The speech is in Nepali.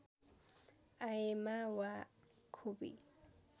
आएमा वा खोपी